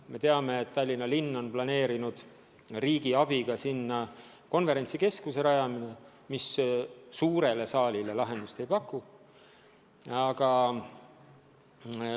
Me teame, et Tallinna linn on planeerinud rajada sinna riigi abiga konverentsikeskuse, aga suurele saalile see lahendust ei paku.